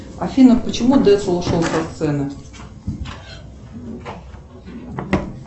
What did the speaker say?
афина почему децл ушел со сцены